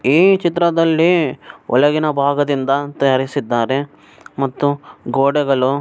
ಈ ಚಿತ್ರದಲ್ಲಿ ಒಳಗಿನ ಭಾಗದಿಂದ ತಯಾರಿಸಿದ್ದಾರೆ ಮತ್ತು ಗೋಡೆಗಳು